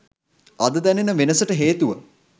අද දැනෙන වෙනසට හේතුව